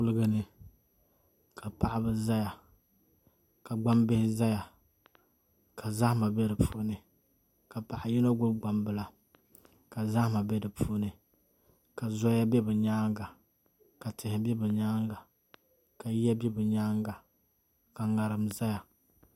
Kuligi ni ka paɣaba ʒɛya ka gbambihi ʒɛya ka zahama bɛ di puuni ka paɣa yino gbubi gbambila ka zahama bɛ di puuni ka zoya bɛ bi nyaanga ka tihi bɛ bi nyaanga ka yiya bɛ bi nyaanga ka ŋarim ʒɛya